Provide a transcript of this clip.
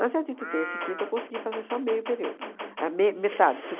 Mas a de de terça e quinta, eu consegui fazer só meio período, a me metade,